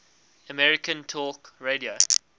american talk radio